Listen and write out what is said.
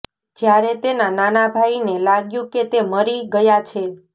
જ્યારે તેના નાના ભાઈને લાગ્યું કે તે મરી ગયાં છે